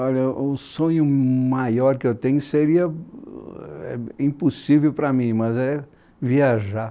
Olha, um sonho maior que eu tenho seria impossível para mim, mas é viajar.